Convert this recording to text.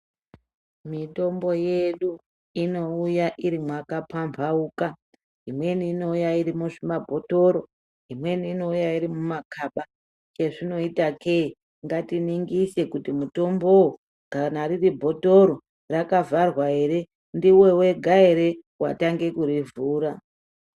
Mitombo yedu inouya iri makapambauka imweni inouya iri muzvimabhotoro imweni inouya iri mumakaba izvinoita ke ngatiningise kuti mutombowo kana riri bhotoro rakavharwa hre ndiwe wega hre kutanga kuri vhura.